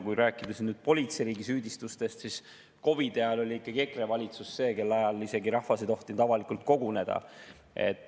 Kui rääkida politseiriigisüüdistustest, siis COVID‑i ajal oli ikkagi EKRE valitsus see, kelle ajal rahvas ei tohtinud avalikult koguneda.